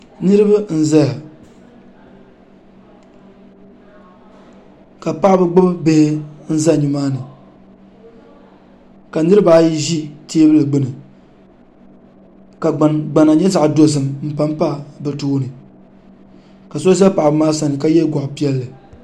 Niriba n zaya ka paɣaba gbibi bihi n za nimaani ka niriba ayi ʒi teebuli gbini ka gbana nyɛ zaɣa dozim m pampa bɛ tooni ka so za paɣaba maa sani ka ye gɔɣa piɛlli.